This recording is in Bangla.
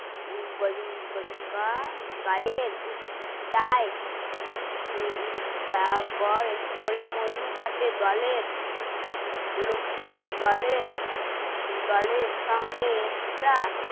গায়ের তাই করে মধু কাটে দলের লোক দলের দলের সঙ্গে একটা